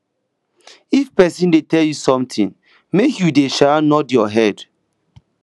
if person dey tell you something make you dey um nod your head